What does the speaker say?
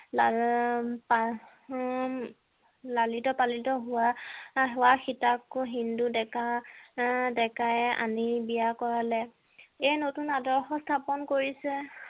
লালিত পালিত হোৱা হোৱা সীতাকো হিন্দু ডেকা আহ ডেকায়ে আনি বিয়া কৰালে এই নতুন আদৰ্শ স্থাপন কৰিছে